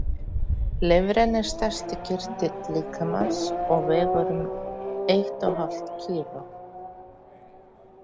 Lifrin er stærsti kirtill líkamans og vegur um eitt og hálft kíló.